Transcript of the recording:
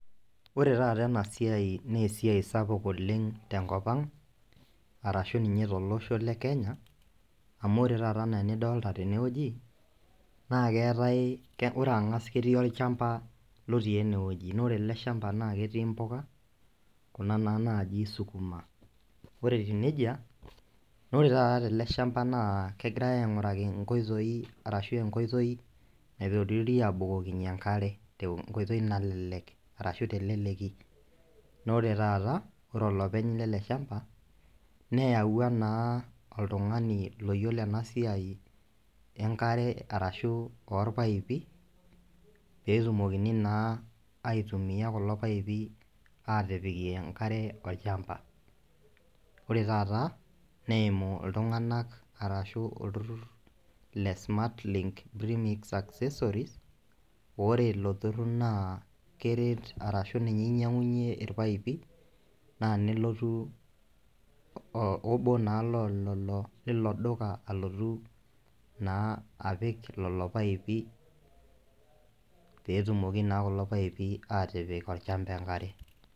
Ore taata ena siai naa esiai sapuk oleng' tenkop, arashu ninye tolosho le kenya amu ore taata enaa enidolta tenewueji naa keetae ore ang'as ketii orchamba lotii enewueji noore ele shamba naa ketii impuka kuna naa naji sukuma nore etiu nejia nore taata tele shamba naa kegirae aing'uraki inkoitoi arashu enkoitoi naitororie abukokinyie enkare enkoitoi nalelek arashu teleleki nore taata ore olopeny lele shamba neyawua naa oltung'ani loyiolo ena siai enkare arashu orpaipi petumokini naa aitumiyia kulo paipi atipikie enkare olchamba ore taata neimu iltung'anak arashu olturrur le smart link remix accessories ore ilo turrur naa keret arashu ninye inyiang'unyie irpaipi naa nelotu o obo naa loo lelo lilo duka alotu naa apik lolo paipi petumoki naa kulo paipi atipik olchamba enkare.